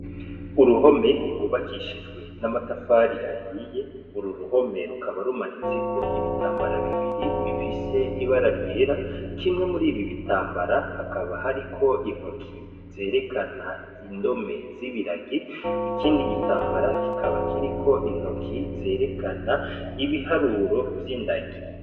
Uruhome rwubakishijwe n'amatafari ahiye, uru ruhome rukaba rumanitseko ibitambara bibiri bifise ibara ryera, kimwe muribi bitambara hakaba hariko intoki zerekana indome z'ibiragi, ikindi gitambara kikaba kiriko intoki zerekana ibiharuro vy'indagi.